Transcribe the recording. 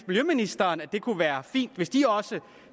miljøministeren at det kunne være fint hvis de også